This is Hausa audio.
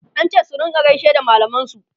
an ce su rinka gaishe da mallaman su